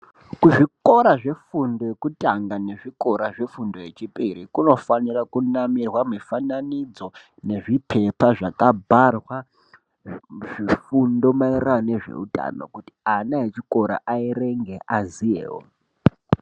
Kuzvikora zvefundo yekutanga nezvikora zvefundo yechipiri kunofanira kunamirwa mifananidzo nezvipepa zvakabharwa zvifundo maererano nezveutano kuti ana echikora eirenge, aziyewo.